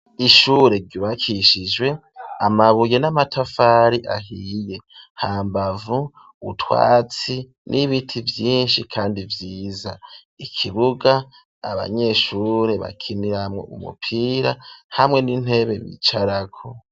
Ishure ryubakishijwe amabuye n'amatafari ahiye ,hambavu utwatsi n'ibiti vyinshi kandi vyiza, ikibuga abanyeshure bakimiramwo umupira hamwe n'intebe bicarako.